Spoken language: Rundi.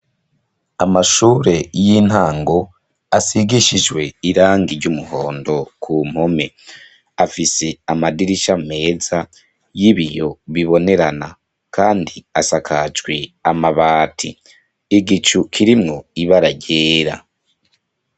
Amashure y'intango asigishijwe irangi ry'umuhondo ku mpome. Afise amadirisha meza y'ibiyo bibonerana kandi asakajwe amabati. Igicu kirimwo ibara ryera.